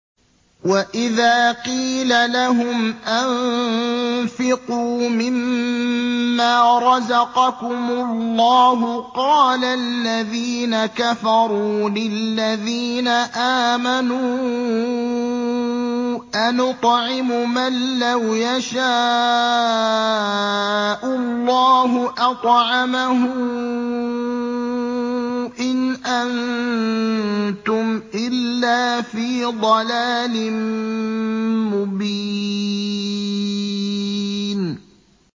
وَإِذَا قِيلَ لَهُمْ أَنفِقُوا مِمَّا رَزَقَكُمُ اللَّهُ قَالَ الَّذِينَ كَفَرُوا لِلَّذِينَ آمَنُوا أَنُطْعِمُ مَن لَّوْ يَشَاءُ اللَّهُ أَطْعَمَهُ إِنْ أَنتُمْ إِلَّا فِي ضَلَالٍ مُّبِينٍ